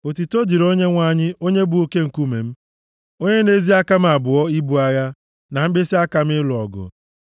Otuto dịrị Onyenwe anyị, onye bụ oke nkume m, onye na-ezi aka m abụọ ibu agha, na mkpịsịaka m ịlụ ọgụ.